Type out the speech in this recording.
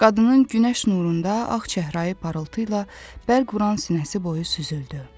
Qadının günəş nurunda ağ çəhrayı parıltı ilə bəlquran sinəsi boyu süzüldü.